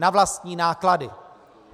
Na vlastní náklady.